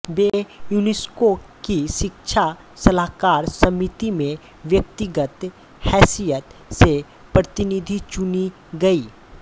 वे UNESCO की शिक्षा सलाहकार समिति में व्यक्तिगत हैसियत से प्रतिनिधि चुनी गयीं